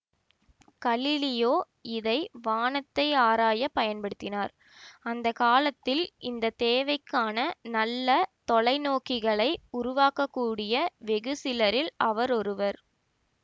Galileo இதை வானத்தை ஆராய பயன்படுத்தினார் அந்த காலத்தில் இந்த தேவைக்கான நல்ல தொலை நோக்கிகளை உருவாக்கக்கூடிய வெகு சிலரில் அவர் ஒருவர்